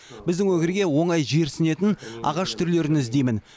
біздің өңірге оңай жерсінетін ағаш түрлерін іздеймін